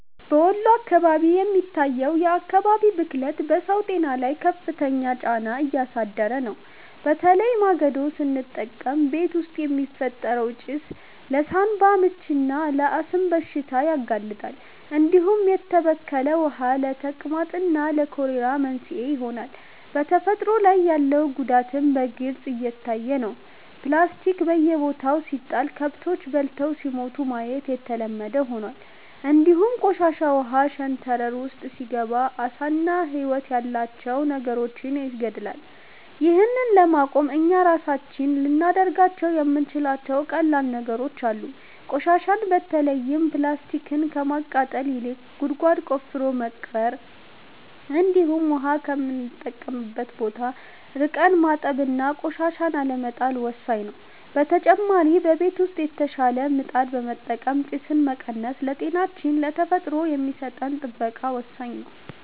በወሎ አካባቢ የሚታየው የአካባቢ ብክለት በሰው ጤና ላይ ከፍተኛ ጫና እያሳደረ ነው፤ በተለይ ማገዶ ስንጠቀም ቤት ውስጥ የሚፈጠረው ጭስ ለሳንባ ምችና ለአስም በሽታ ያጋልጣል፣ እንዲሁም የተበከለ ውሃ ለተቅማጥና ለኮሌራ መንስኤ ይሆናል። በተፈጥሮ ላይ ያለው ጉዳትም በግልጽ እየታየ ነው፤ ፕላስቲክ በየቦታው ሲጣል ከብቶች በልተው ሲሞቱ ማየት የተለመደ ሆኗል፣ እንዲሁም ቆሻሻ ውሃ ሸንተረር ውስጥ ሲገባ ዓሳና ህይወት ያላቸው ነገሮችን ይገድላል። ይህን ለማቆም እኛ ራሳችን ልናደርጋቸው የምንችላቸው ቀላል ነገሮች አሉ፤ ቆሻሻን በተለይም ፕላስቲክን ከማቃጠል ይልቅ ጉድጓድ ቆፍረን መቅበር፣ እንዲሁም ውሃ ከምንጠቀምበት ቦታ ርቀን ማጠብና ቆሻሻን አለመጣል ወሳኝ ነው። በተጨማሪ በቤት ውስጥ የተሻሻለ ምጣድ በመጠቀም ጭስን መቀነስ ለጤናችንና ለተፈጥሮ የሚሰጠን ጥበቃ ወሳኝ ነው።